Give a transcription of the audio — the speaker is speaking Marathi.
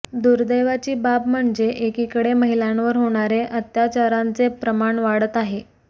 दुर्दैवाची बाब म्हणजे एकीकडे महिलांवर होणारे अत्याचारांचे प्रमाण वाढत आहे